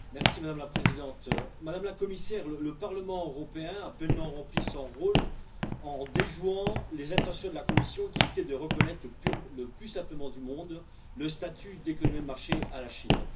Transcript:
Madame la Présidente, Madame la Commissaire, le Parlement européen a pleinement rempli son rôle en déjouant les intentions de la Commission qui étaient de reconnaître le plus simplement du monde le statut d'économie de marché à la Chine.